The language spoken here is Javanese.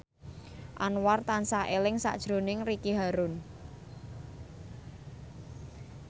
Anwar tansah eling sakjroning Ricky Harun